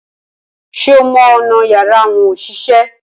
Ṣé o mọ ọ̀nà yàrá àwọn òṣìṣẹ́?